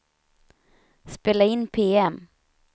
spela in PM